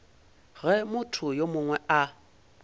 ge motho yo mongwe a